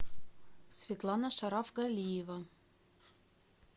светлана шарафгалиева